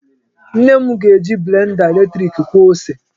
Nne m ga-eji blenda eletrik kwọọ ose.